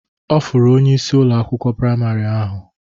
Ọ fụrụ onyeisi Ụlọ akwụkwọ praịmarị ahụ.